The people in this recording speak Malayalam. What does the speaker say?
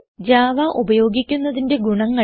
ജാവ ഉപയോഗിക്കുന്നതിന്റെ ഗുണങ്ങൾ